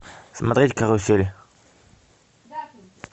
смотреть карусель